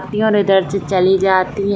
रतिया ने दर्ज चली जाती --